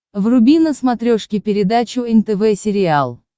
вруби на смотрешке передачу нтв сериал